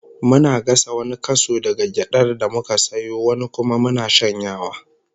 Muna gasa wani kaso daga gyadar da muka sayo, wani kuma muna shanyawa